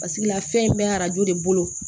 Pasekela fɛn in bɛ arajo de bolo